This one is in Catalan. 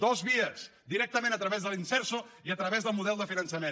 dues vies directament a través de l’imserso i a través del model de finançament